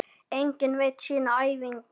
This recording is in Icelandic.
Enginn veit sína ævina.